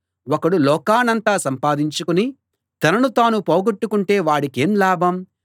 ఒకడు లోకాన్నంతా సంపాదించుకుని తనను తాను పోగొట్టుకొంటే వాడికేం లాభం